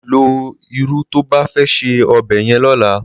Ló irù tó bá fè sé òbè yèn lòlá